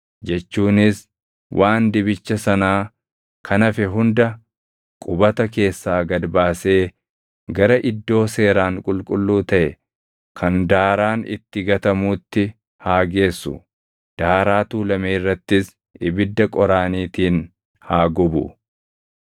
jechuunis waan dibicha sanaa kan hafe hunda qubata keessaa gad baasee gara iddoo seeraan qulqulluu taʼe kan daaraan itti gatamuutti haa geessu; daaraa tuulame irrattis ibidda qoraaniitiin haa gubu.